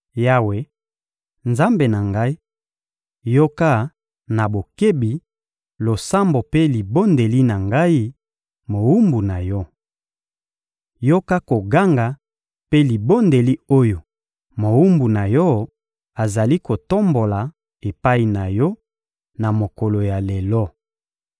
Yawe, Nzambe na ngai, yoka na bokebi losambo mpe libondeli na ngai, mowumbu na Yo! Yoka koganga mpe libondeli oyo mowumbu na Yo azali kotombola epai na Yo na mokolo ya lelo.